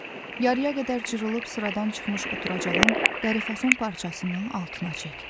Yarıya qədər cırılıb sıradan çıxmış oturacağın dərifason parçasını altına çəkdi.